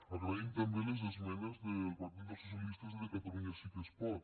agraïm també les esmenes del partit dels socialistes i de catalunya sí que es pot